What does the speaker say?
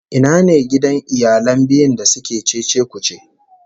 Ina ne gidan iyalan biyu da suke cece-kuce?